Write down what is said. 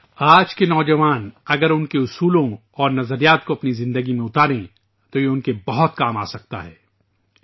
اگر آج کے نوجوان ان کے اقدار اور نظریات کو اپنی زندگی میں اپنائیں تو یہ ان کے لیے بہت مددگار ثابت ہو سکتا ہے